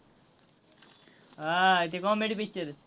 हां, ते comedy picture आहेत.